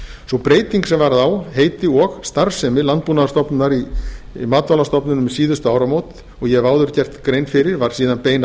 sú breyting sem varð á heiti og starfsemi landbúnaðarstofnunar í matvælastofnun um síðustu áramót og ég hef áður gert grein fyrir var síðan bein